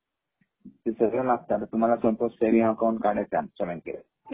ते सगळ लागत सपोज तुम्हाला सेविंग अकाऊंट काढायचं हाय आमच्या बँकेत